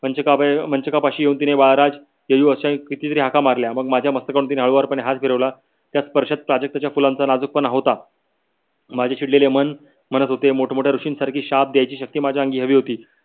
मंचकपाशी येऊन तिने येयू अश्या कीती तरी हाका मारल्या मग माझ्या मास्तकापासून तिने हळुवार हाथ फिरवला त्या स्परशात प्राजक्ताच्या फुलांचा नजुकपणा होता . माझे चिडलेले मन म्हणत होते मोठ मोठ्या ऋषि सारखी शाप द्यायची शक्ति माझ्या अंगी हवी होती.